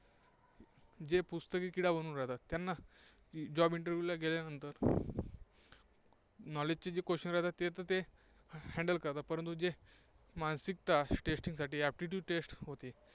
जे पुस्तकी किडा होऊन जातात, त्यांना job interview ला गेल्यानंतर knowledge जे question असतात handle करतात, पण जे मानसिकता testing साठी aptitude test होते,